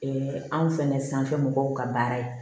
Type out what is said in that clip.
anw fɛnɛ sanfɛ mɔgɔw ka baara ye